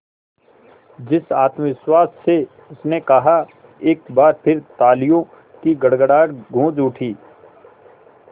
जिस आत्मविश्वास से उसने कहा एक बार फिर तालियों की गड़गड़ाहट गूंज उठी